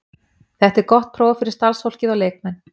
Þetta er gott próf fyrir starfsfólkið og leikmenn.